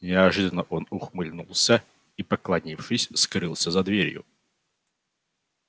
неожиданно он ухмыльнулся и поклонившись скрылся за дверью